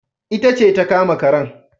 Ita ce ta kama karen